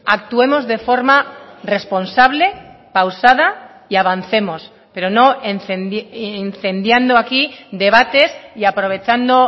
actuemos de forma responsable pausada y avancemos pero no incendiando aquí debates y aprovechando